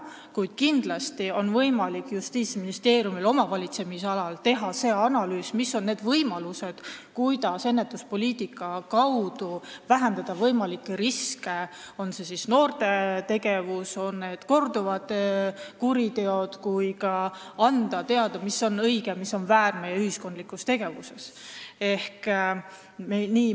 Kuid kindlasti on võimalik Justiitsministeeriumil oma valitsemisalas teha analüüs, mis on need võimalused, kuidas ennetuspoliitika kaudu vähendada võimalikke riske, tuua välja, millele on vaja tähelepanu pöörata, kas see on noorte kuritegevus või korduvad kuriteod, ning anda teada, mis on õige ja mis on väär meie ühiskondlikus tegevuses.